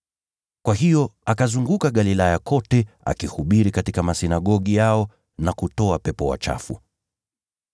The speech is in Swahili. Kwa hiyo akazunguka Galilaya kote, akihubiri katika masinagogi yao na kutoa pepo wachafu.